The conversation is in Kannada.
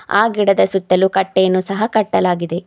ಆ ಗಿಡದ ಸುತ್ತಲೂ ಕಟ್ಟೆಯನ್ನು ಕಟ್ಟಲಾಗಿದೆ.